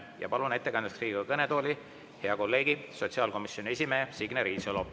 Ja palun ettekandeks Riigikogu kõnetooli hea kolleegi, sotsiaalkomisjoni esimehe Signe Riisalo.